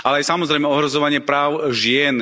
Ale aj samozrejme ohrozovanie práv žien.